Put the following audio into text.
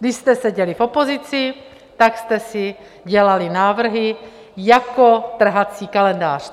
Když jste seděli v opozici, tak jste si dělali návrhy jako trhací kalendář.